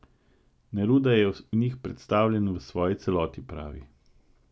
Neruda je v njih predstavljen v svoji celoti, pravi.